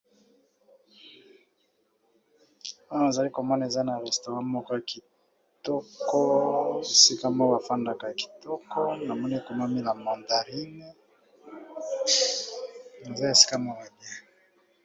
Awa na zali ko mona eza na restaurant moko kitoko esika ba fandaka kitoko na moni ekomami la mandarine nzaya esika moko ya bien .